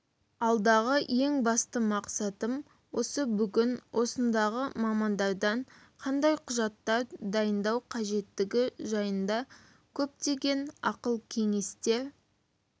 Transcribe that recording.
алдағы ең басты мақсатым осы бүгін осындағы мамандардан қандай құжаттар дайындау қажеттігі жайында көптеген ақыл-кеңестер